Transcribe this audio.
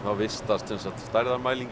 vistast